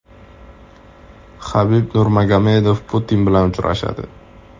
Habib Nurmagomedov Putin bilan uchrashadi.